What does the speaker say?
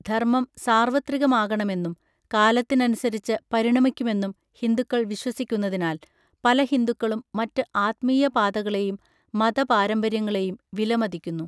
ധർമ്മം സാർവത്രികമാണെന്നും കാലത്തിനനുസരിച്ച് പരിണമിക്കുമെന്നും ഹിന്ദുക്കൾ വിശ്വസിക്കുന്നതിനാൽ പല ഹിന്ദുക്കളും മറ്റ് ആത്മീയ പാതകളെയും മതപാരമ്പര്യങ്ങളെയും വിലമതിക്കുന്നു.